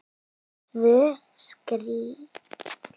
Tvö strik.